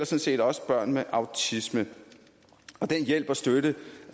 set også børn med autisme den hjælp og støtte